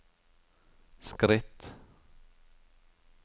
skritt